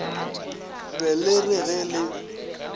be le re ge le